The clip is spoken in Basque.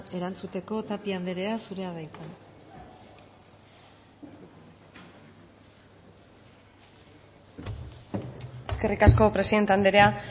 erantzuteko tapia anderea zurea da hitza eskerrik asko presidente andrea